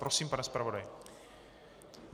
Prosím, pane zpravodaji.